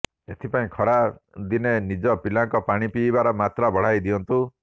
ଏଥିପାଇଁ ଖରା ଦିନେ ନିଜ ପିଲାଙ୍କ ପାଣି ପିଇବାର ମାତ୍ରା ବଢାଇ ଦିଅନ୍ତୁ